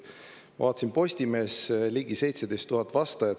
Ma vaatasin Postimehe, kus oli ligi 17 000 vastajat.